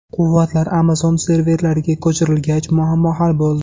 Quvvatlar Amazon serverlariga ko‘chirilgach, muammo hal bo‘ldi.